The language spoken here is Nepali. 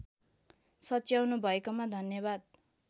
सच्याउनु भएकोमा धन्याबाद